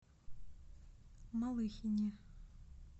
малыхине